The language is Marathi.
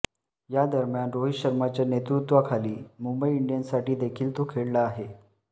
यादम्यान रोहित शर्माच्या नेतृत्वाखाली मुंबई इंडियन्ससाठी देखील तो खेळला आहे